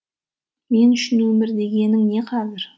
мен үшін өмір дегенің не қазір